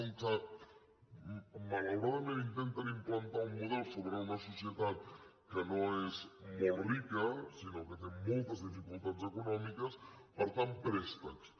com que malauradament intenten implantar un model sobre una societat que no és molt rica sinó que té moltes dificultats econòmiques per tant préstecs